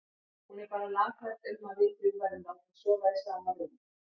Hún er bara lafhrædd um að við þrjú verðum látin sofa í sama rúmi.